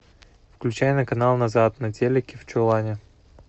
включай на канал назад на телике в чулане